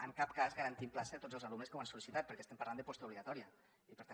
en cap cas garantim plaça a tots els alumnes que ho han sol·licitat perquè estem parlant de postobligatòria i per tant